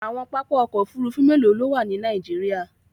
Àwọn pápá òkò òfúrùfú mélò ló wà ní Nàìjíríà?